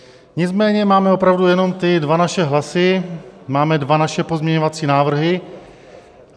Nicméně máme opravdu jenom ty dva naše hlasy, máme dva naše pozměňovací návrhy.